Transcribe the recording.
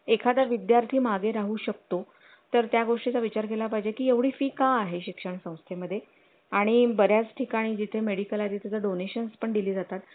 एखादा विद्यार्थी मागे राहू शकतो तर त्या गोष्टी चा विचार केला पाहिजे की एवढी fee का आहे शिक्षण संस्थे मध्ये आणि बर् याच ठिकाणी जिथे मेडिकल आधी त्याचा donation पण दिली जातात